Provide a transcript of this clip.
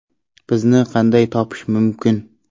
Bizni qanday topish mumkin?